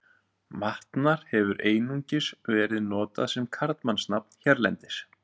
Vatnar hefur einungis verið notað sem karlmannsnafn hérlendis.